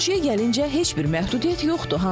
Ölçüyə gəlincə heç bir məhdudiyyət yoxdur.